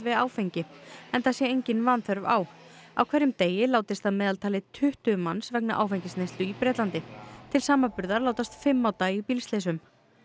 áfengi enda sé engin vanþörf á á hverjum degi látist að meðaltali tuttugu manns vegna áfengisneyslu í Bretlandi til samanburðar látast fimm á dag í bílslysum